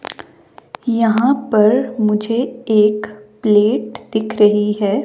यहां पर मुझे एक प्लेट दिख रही हैं।